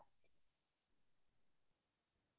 হা হা